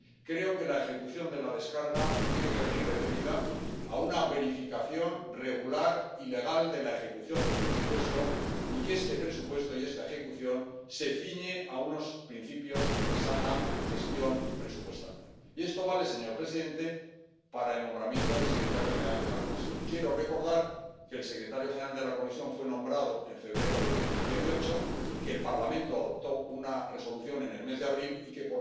Creo que la ejecución de la aprobación de la gestión tiene que venir referida a una verificación regular y legal de la ejecución del presupuesto, y que este presupuesto y esta ejecución se ciñen a unos principios de buena gestión presupuestaria. Y esto vale, señor presidente, para el nombramiento del secretario general de la Comisión. Quiero recordar que el secretario general de la Comisión fue nombrado en febrero de 2018, que el Parlamento aprobó una Resolución en el mes de abril, y que